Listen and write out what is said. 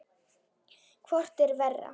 Hvort er verra?